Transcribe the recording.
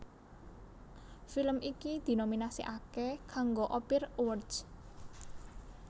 Film iki dinominasèkaké kanggo Ophir Awards